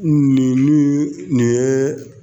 Nin nin ye